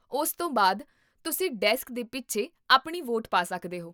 ਉਸ ਤੋਂ ਬਾਅਦ, ਤੁਸੀਂ ਡੈਸਕ ਦੇ ਪਿੱਛੇ ਆਪਣੀ ਵੋਟ ਪਾ ਸਕਦੇ ਹੋ